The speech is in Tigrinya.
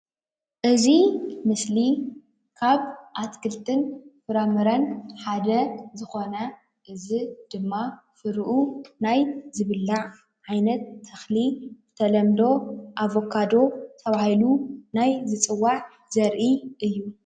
እዚ ምስሊ ካብ ኣትክልትን ፍራምረን ሓደ ዝኮነ እዚ ድማ ፍሪኡ ናይ ዝብላዕ ዓይነት ተክሊ ብተለምዶ ኣቨካዶ ተባሂሉ ናይ ዝፅዋዕ ዘርኢ እዩ፡፡